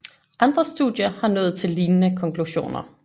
Andre studier har nået til lignende konklusioner